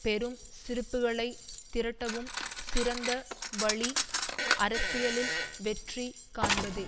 பெரும் சிரிப்புகளைத் திரட்டவும் சிறந்த வழி அரசியலில் வெற்றி காண்பதே